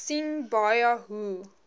sien baie hoe